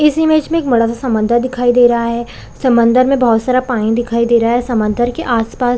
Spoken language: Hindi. इस इमेज में एक बड़ा सा समंदर दिखाई दे रहा है समंदर में बहुत सारा पानी दिखाई दे रहा है समंदर के आस-पास --